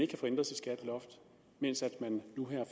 kan få ændret sit skatteloft mens man nu her